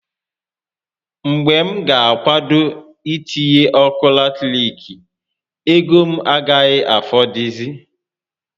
Mgbe m ga akwado itinye ọkụ latirik, ego m agaghi afọdụzị